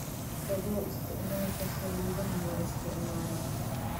Ka fogow isticmaalka saliidaha la isticmaalo.